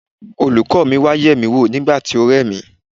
Olùkọ́ mi wá yemi wò nígbà tí ó re mí.